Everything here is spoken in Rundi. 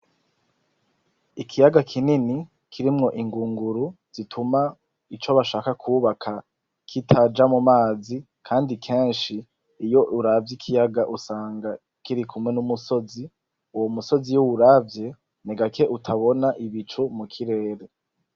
Ikiyaga kinini kirimwo ingunguru zituma ico bashaka kubaka kitaja mumazi, kandi kenshi iyo uravye ikiyaga usanga kiri kumwe n'umusozi. Uwo musozi iyo uwuravye ni gake utabona ibicu mukirere.